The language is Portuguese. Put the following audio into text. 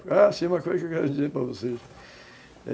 Ah, sim, tem uma coisa que eu quero dizer para vocês.